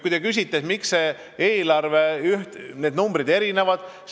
Te küsite, miks need numbrid erinevad.